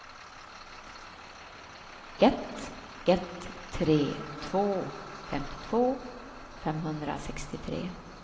ett ett tre två femtiotvå femhundrasextiotre